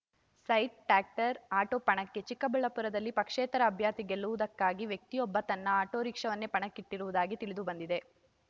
site tractor auto ಪಣಕ್ಕೆ ಚಿಕ್ಕಬಳ್ಳಾಪುರದಲ್ಲಿ ಪಕ್ಷೇತರ ಅಭ್ಯರ್ಥಿ ಗೆಲ್ಲುವುದಕ್ಕಾಗಿ ವ್ಯಕ್ತಿಯೊಬ್ಬ ತನ್ನ ಆಟೋರಿಕ್ಷಾವನ್ನೇ ಪಣಕ್ಕಿಟ್ಟಿರುವುದಾಗಿ ತಿಳಿದು ಬಂದಿದೆ